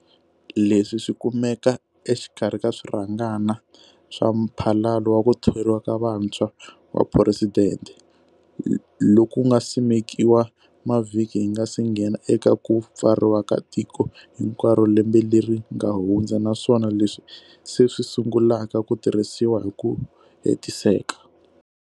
Leswi swi kumeka exikarhi ka swirhangana swa Mphalalo wa ku Thoriwa ka Vantshwa wa Phuresidente, loku nga simekiwa mavhiki hi nga se nghena eka ku pfariwa ka tiko hinkwaro lembe leri nga hundza naswona leswi se swi sungulaka ku tirhisiwa hi ku hetiseka.